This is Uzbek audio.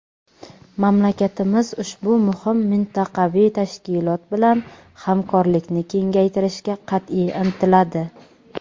Mamlakatimiz ushbu muhim mintaqaviy tashkilot bilan hamkorlikni kengaytirishga qat’iy intiladi.